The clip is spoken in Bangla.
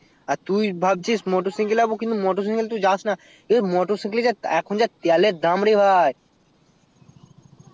আর তুই ভাবছিস motor cycle যাবো কিন্তু motor cycle তুই যাসনা এই motor cycle যা এখন তেলের দাম রে ভাই